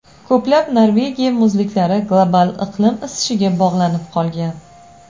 Ko‘plab Norvegiya muzliklari global iqlim isishiga bog‘lanib qolgan.